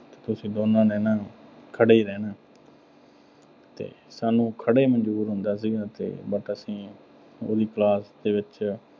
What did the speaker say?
ਤੁਸੀਂ ਦੋਨਾਂ ਨੇ ਨਾ ਅਹ ਖੜ੍ਹੇ ਹੀ ਰਹਿਣਾ। ਤੇ ਸਾਨੂੰ ਖੜ੍ਹੇ ਮਨਜ਼ੂਰ ਹੁੰਦਾ ਸੀਗਾ, ਤੇ but ਅਸੀਂ ਉਹਦੀ class ਦੇ ਵਿੱਚ